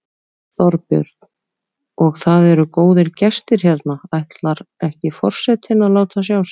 Þorbjörn: Og það eru góðir gestir hérna, ætlar ekki forsetinn að láta sjá sig?